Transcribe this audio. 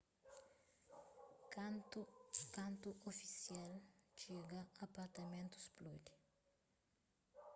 kantu ofisial txiga apartamentu spludi